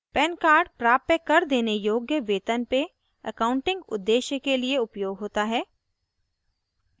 pan card प्राप्य कर देने योग्य वेतन पे accounting उद्देश्य के लिए उपयोग होता है